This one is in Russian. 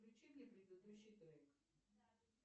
включи мне предыдущий трек